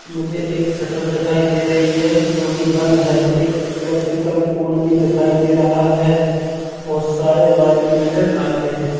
मुझे एक शटर दिखाई दे रही है जो की बंद है एक इलेक्ट्रिकल पोल भी दिखाई दे रहा है बहुत सारे वायर भी नज़र आ रहे हैं।